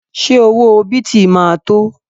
Ṣé owó bìtì ma tó?